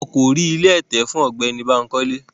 Wọn ko ri ìlé ẹtẹ fun Ọgbẹni Bankole